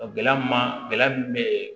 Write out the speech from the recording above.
Gɛlɛya min ma gɛlɛya min bɛ